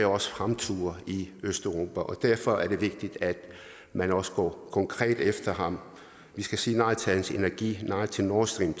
også fremture i østeuropa derfor er det vigtigt at man også går konkret efter ham vi skal sige nej til hans energi nej til nord stream